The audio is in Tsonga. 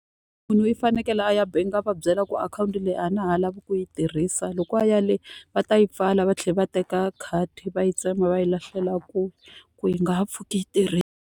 Munhu i fanekele a ya bangi a va byela ku akhawunti leyi a na ha lavi ku yi tirhisa. Loko a ya le va ta yi pfala va tlhela va teka khadi va yi tsema va yi lahlela kule ku yi nga ha pfuki yi tirhile.